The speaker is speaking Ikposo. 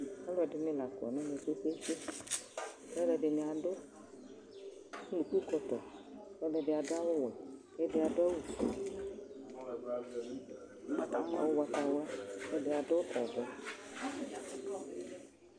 Alʋɛdini lakɔ nʋ une kpe kpe kpe, alʋɛdini adʋ ʋnʋkʋkɔtɔ, kʋ ɛdibi adʋ awʋwɛ, kʋ ɛdi adʋ awʋfue, ʋgbatawla, kʋ ɛdi adʋ ɔvɛ